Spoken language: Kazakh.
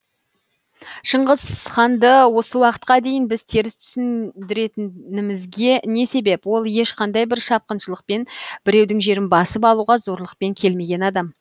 шыңғысханды осы уақытқа дейін біз теріс түсіндіретінімізге не себеп ол ешқандай бір шапқыншылықпен біреудің жерін басып алуға зорлықпен келмеген адам